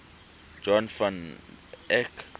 jan van eyck